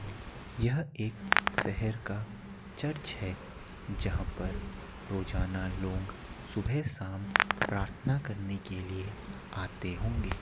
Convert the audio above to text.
यह एक शहर का चर्च है जहां पर रोजाना लोग सुबह-शाम प्रार्थना करने के लिए आते होंगे |